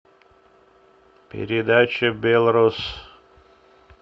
передача белрос